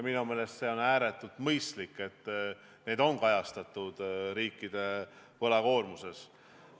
Minu meelest on ääretult mõistlik, et need kohustused on kajastatud riikide võlakoormuses.